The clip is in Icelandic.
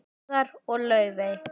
Garðar og Laufey.